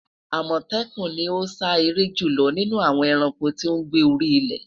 Amọtẹkun ni o sa ere julọ ninu awọn ẹranko ti o gbe ni ori ile